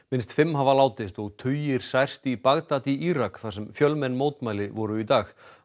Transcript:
minnst fimm hafa látist og tugir særst í Bagdad í Írak þar sem fjölmenn mótmæli voru í dag